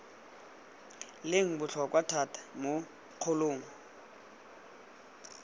leng botlhokwa thata mo kgolong